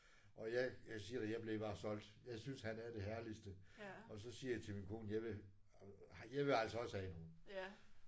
Og jeg jeg siger dig jeg blev bare solgt. Jeg synes han er det herligste. Og så siger jeg til min kone jeg vil jeg vil altså også have en hund